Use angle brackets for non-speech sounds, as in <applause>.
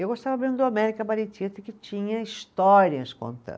Eu gostava mesmo do, <unintelligible> que tinha histórias contando.